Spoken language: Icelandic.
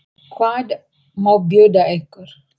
Hvað má bjóða ykkur?